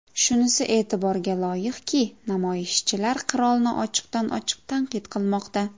Shunisi e’tiborga loyiqki, namoyishchilar qirolni ochiqdan ochiq tanqid qilmoqda.